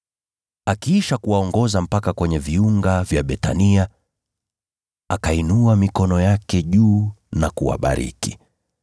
Akiisha kuwaongoza mpaka kwenye viunga vya Bethania, akainua mikono yake juu na kuwabariki.